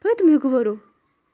поэтому и говорю